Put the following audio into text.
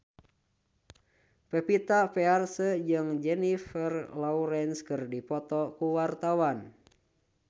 Pevita Pearce jeung Jennifer Lawrence keur dipoto ku wartawan